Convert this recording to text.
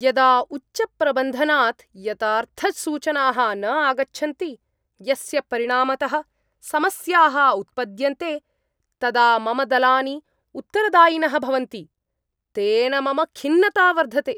यदा उच्चप्रबन्धनात् यथार्थसूचनाः न आगच्छन्ति, यस्य परिणामतः समस्याः उत्पद्यन्ते, तदा मम दलानि उत्तरदायिनः भवन्ति, तेन मम खिन्नता वर्धते।